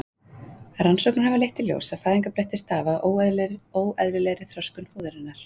rannsóknir hafa þó leitt í ljós að fæðingarblettir stafa af óeðlilegri þroskun húðarinnar